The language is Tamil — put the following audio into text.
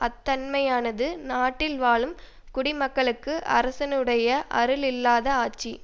அத்தன்மையானது நாட்டில் வாழும் குடிமக்களுக்கு அரசனுடைய அருள் இல்லாத ஆட்சி